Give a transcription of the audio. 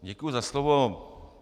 Děkuji za slovo.